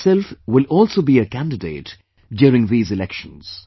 I myself will also be a candidate during this election